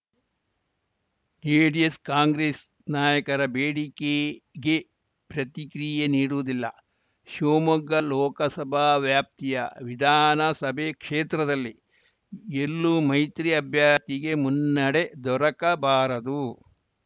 JDS Congress ನಾಯಕರ ಬೇಡಿಕೆಗೆ ಪ್ರತಿಕ್ರಿಯೆ ನೀಡುವುದಿಲ್ಲ ಶಿವಮೊಗ್ಗ ಲೋಕಸಭಾ ವ್ಯಾಪ್ತಿಯ ವಿಧಾನಸಭೆ ಕ್ಷೇತ್ರದಲ್ಲಿ ಎಲ್ಲೂ ಮೈತ್ರಿ ಅಭ್ಯರ್ಥಿಗೆ ಮುನ್ನಡೆ ದೊರಕಬಾರದು